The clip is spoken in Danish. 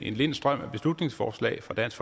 en lind strøm af beslutningsforslag fra dansk